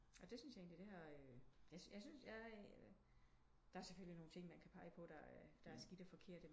Og det syntes jeg egentligt det har øh jeg syntes der er selvfølgelig nogle ting man kan peje på der er skidt og forkert